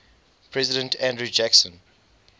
president andrew jackson